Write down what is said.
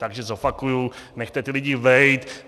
Takže zopakuju: Nechte ty lidi bejt!